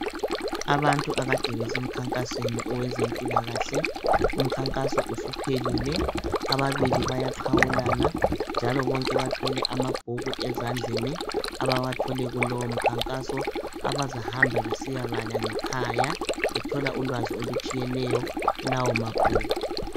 Abantu akade besemkhankasweni wezempilakahle umkhankaso usuphelile ababili bayaqhawulana njalo bonke bathwele amabhuku ezandleni abawathole kulowo mkhankaso abazahamab besiya bala ngekhaya bethola ulwazi olutshiyeneyo kulawo mabhuku.